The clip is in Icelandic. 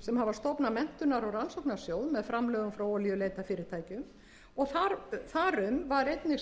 sem hafa stofnað menntunar og rannsóknarsjóð með framlögum frá olíuleitarfyrirtækjum og þar um var einnig samstaða í